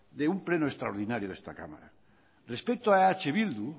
de un pleno extraordinario de esta cámara respeto a eh bildu